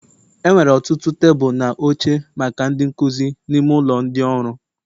Enwere ọtụtụ tebụl na oche maka ndị nkuzi n'ime ụlọ ndị ọrụ